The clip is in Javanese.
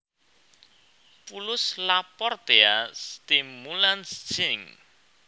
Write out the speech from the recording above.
Pulus Laportea stimulans syn